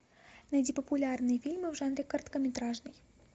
найди популярные фильмы в жанре короткометражный